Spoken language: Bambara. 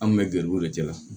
An kun bɛ garibu de kɛ